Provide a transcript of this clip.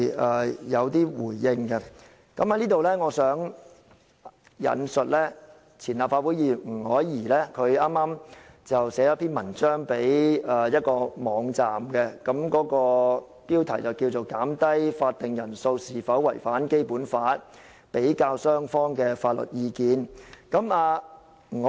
我想在此引述前立法會議員吳靄儀剛寫給一個網站的文章，標題是"減低法定人數是否違反《基本法》：比較雙方法律意見"。